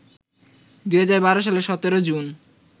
২০১২ সালের ১৭ জুন